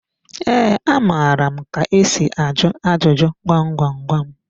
Ee, amara m ka esi ajụ ajụjụ gwam gwam gwam.